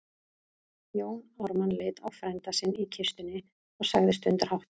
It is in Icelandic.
Jón Ármann leit á frænda sinn í kistunni og sagði stundarhátt